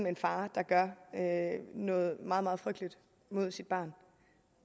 en far der gør noget meget meget frygteligt mod sit barn